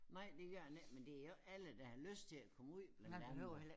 Nej det gør man ikke men det jo ikke alle der har lyst til at komme ud blandt andre